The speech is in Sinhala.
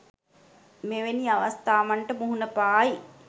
මෙවැනි අවස්ථාවන්ට මුහුණ පායි.